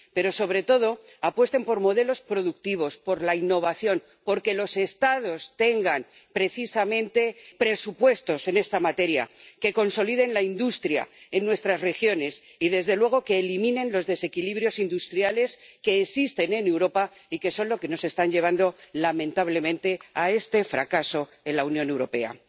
Pero, sobre todo, apuesten por modelos productivos, por la innovación, por que los Estados tengan precisamente presupuestos en esta materia, que consoliden la industria en nuestras regiones y, desde luego, que eliminen los desequilibrios industriales que existen en Europa y que son los que nos están llevando lamentablemente a este fracaso en la Unión Europea.